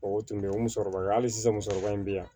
O tun bɛ yen o musokɔrɔba ye hali sisan musokɔrɔba in bɛ yan